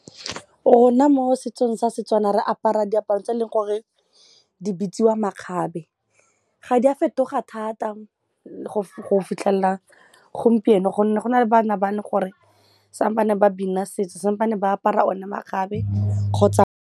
Rona mo setsong sa Setswana re apara diaparo tse eleng gore di bitsiwa makgabe, ga di a fetoga thata go fitlhelela gompieno gonne go na le bana ba le gore ba bina setso ba apara one makgabe kgotsa.